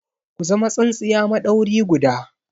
Ku zama tsintsiya maɗauri guda!